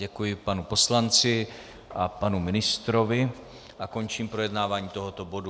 Děkuji panu poslanci a panu ministrovi a končím projednávání tohoto bodu.